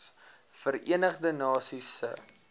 verenigde nasies se